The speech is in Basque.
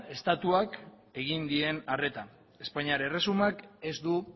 estatuak egin dien arreta espainiar erresumak ez du